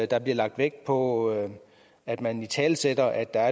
der bliver lagt vægt på at at man italesætter at der